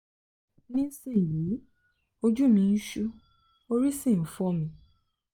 nísinyìí ojú mi ń ṣú orí sì ń fọ́ mi